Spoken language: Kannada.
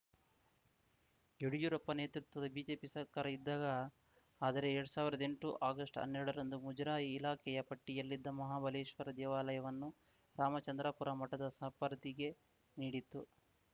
ಯಡ್ಯೂರಪ್ಪ ನೇತೃತ್ವದ ಬಿಜೆಪಿ ಸರ್ಕಾರ ಇದ್ದಾಗ ಆದರೆ ಎರಡ್ ಸಾವಿರ್ದ್ ಎಂಟು ಆಗಸ್ಟ್ ಹನ್ನೆರಡರಂದು ಮುಜರಾಯಿ ಇಲಾಖೆಯ ಪಟ್ಟಿಯಲ್ಲಿದ್ದ ಮಹಾಬಲೇಶ್ವರ ದೇವಾಲಯವನ್ನು ರಾಮಚಂದ್ರಾಪುರ ಮಠದ ಸಪರ್ದಿಗೆ ನೀಡಿತ್ತು